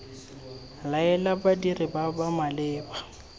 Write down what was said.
laela badiri ba ba maleba